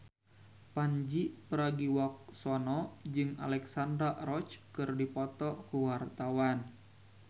Pandji Pragiwaksono jeung Alexandra Roach keur dipoto ku wartawan